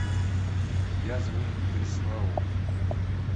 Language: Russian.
язвы бреслау